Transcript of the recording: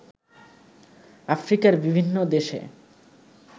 আফ্রিকার বিভিন্ন দেশে